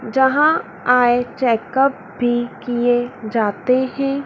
जहां eye checkup भी किये जाते है।